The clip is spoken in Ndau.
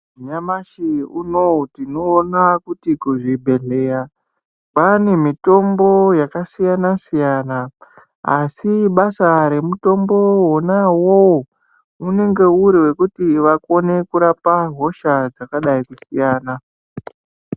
Nyamashi unowu tinoona kuti kuzvibhedhleya, kwaane mitombo yakasiyana-siyana, asi basa remutombowo wona uwowo, unenge uri wekuti vakone kurapa hosha dzakadai kusiyana.